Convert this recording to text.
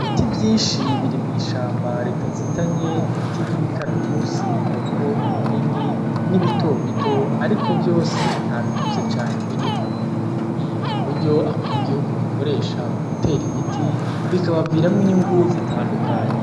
Ibiti vyinshi biri mw'ishamba ritazitanye. Ni ibiti vy'imikaratusi, harimwo binini, n'ibitobito ariko vyose nta bikuze cane birimwo. Ni uburyo abanyagihugu bakoresha mu gutera ibiti, bikabaviramwo inyungu zitandukanye.